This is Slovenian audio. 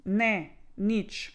Ne, nič.